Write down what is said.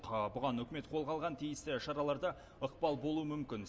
бұған үкімет қолға алған тиісті шаралар да ықпал болуы мүмкін